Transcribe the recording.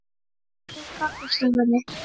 Litlu Kaffistofunni